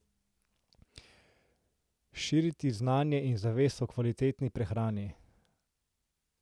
Širiti znanje in zavest o kvalitetni prehrani.